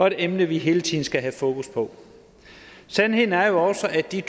et emne vi hele tiden skal have fokus på sandheden er jo også at de